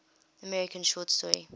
american short story